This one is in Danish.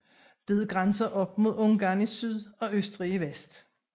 Det grænser op mod Ungarn i syd og Østrig i vest